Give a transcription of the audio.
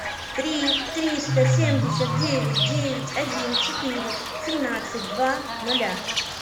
три триста семьдесят девять девять один четыре семнадцать два ноля